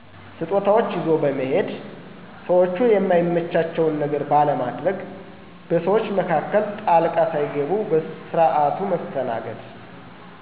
ስጦታዎች ይዞ በመሔድ፣ ሰዎቹ የማይመቻቸውን ነገር ባለማድግ፣ በሰዎች መካከል ጣልቃ ሣይገቡ በስርዓቱ መስተናገድ።